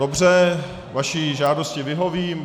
Dobře, vaší žádosti vyhovím.